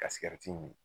Ka sigɛriti mi